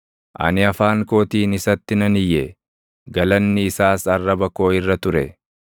Ani afaan kootiin isatti nan iyye; galanni isaas arraba koo irra ture.